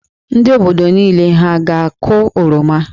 Ndị obodo niile hà a ga-akụ oroma?